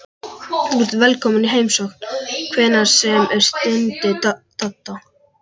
Þú ert velkominn í heimsókn hvenær sem er stundi Dadda.